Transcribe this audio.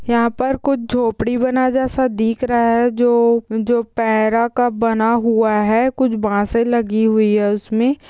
यहाँ पर कुछ झोपड़ी बना जैसा दिख रहा है जो-जो का बना हुआ है कुछ बांसे लगी हुई है उसमें।